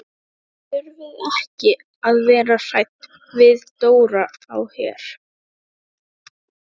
Þið þurfið ekki að vera hrædd við Dóra á Her.